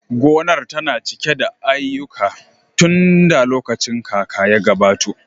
Gonar tana cike da aiyuka tunda lokacin kaka ya gabato